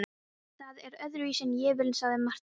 Það er öðruvísi en ég vil, sagði Marteinn.